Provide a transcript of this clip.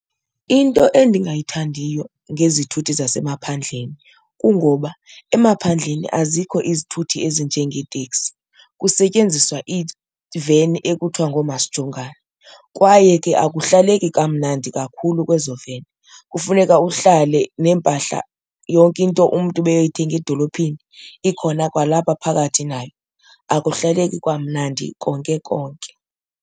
Into endingayithandiyo ngezithuthi zasemaphandleni kungoba emaphandleni azikho izithuthi ezinjengeeteksi, kusetyenziswa iiveni ekuthiwa ngoomasijongane kwaye ke akuhlaleki kamnandi kakhulu kwezi veni. Kufuneka uhlale neempahla, yonke into umntu beyoyithenga edolophini ikhona kwalapha phakathi nayo. Akuhlaleki kamnandi konke konke.